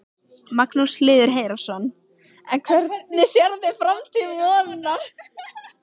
Magnús Hlynur Hreiðarsson: En hvernig sérðu framtíð Vonar?